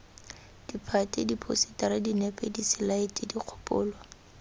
ditphate diphousetara dinepe diselaete dikgopolo